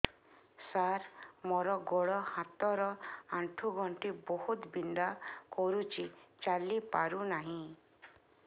ସାର ମୋର ଗୋଡ ହାତ ର ଆଣ୍ଠୁ ଗଣ୍ଠି ବହୁତ ବିନ୍ଧା କରୁଛି ଚାଲି ପାରୁନାହିଁ